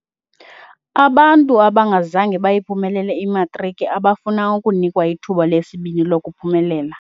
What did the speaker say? Abantu abangazange bayiphumelele imatriki abafuna ukunikwa ithuba lesibini lokuphumelela.